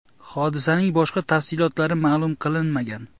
Hodisaning boshqa tafsilotlari ma’lum qilinmagan.